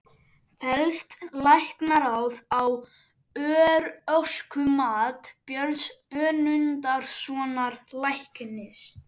Fellst Læknaráð á örorkumat Björns Önundarsonar læknis?